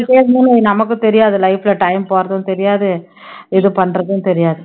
பண்ணிட்டே இருந்தன்னு வை, நமக்கும் தெரியாது life ல time போறதும் தெரியாது இது பண்றதும் தெரியாது